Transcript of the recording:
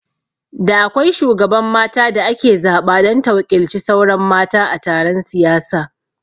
Da akwai shugaban mata da ake zaɓa don ta waƙilci sauran mata a taron siyasa